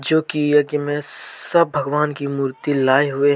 क्योंकि यज्ञ मैं सब भगवान की मूर्ति लाए हुए--